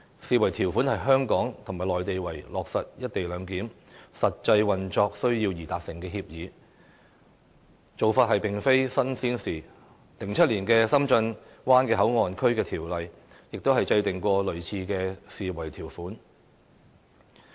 這項條款是香港及內地為了落實"一地兩檢"實際運作需要而達成的協議，這做法並非甚麼新鮮事 ，2007 年《深圳灣口岸港方口岸區條例》也有類似的條款。